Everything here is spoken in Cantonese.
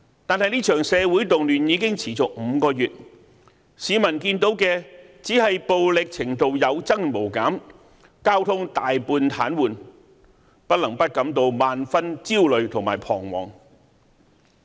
但是，這場社會動亂已持續5個月，市民看到的只是暴力程度有增無減，交通大半癱瘓，不能不感到萬分焦慮和彷徨。